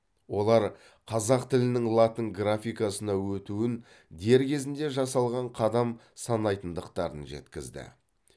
олар қазақ тілінің латын графикасына өтуін дер кезінде жасалған қадам санайтындықтарын жеткізді